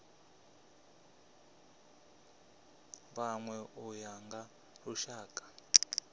vhanwe u ya nga lushaka